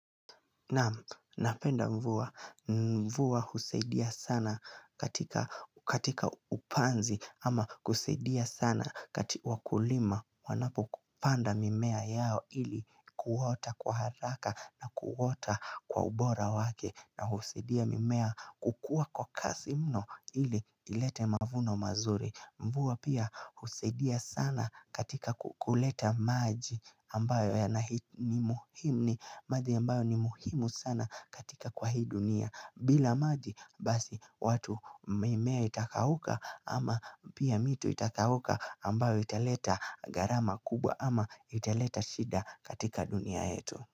Naam, napenda mvua, mvua husaidia sana katika katika upanzi ama kusaidia sana kati wakulima wanapo kupanda mimea yao ili kuota kwa haraka na kuota kwa ubora wake na husaidia mimea kukua kwa kasi mno ili ilete mavuno mazuri Mvua pia husaidia sana katika ku kuleta maji ambayo ya nahi ni muhimu ni madhi ambayo ni muhimu sana katika kwa hii dunia bila maji basi watu mimea itakauka ama pia mito itakauka ambayo italeta gharama kubwa ama italeta shida katika dunia yetu.